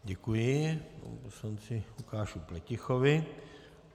Děkuji panu poslanci Lukáši Pletichovi.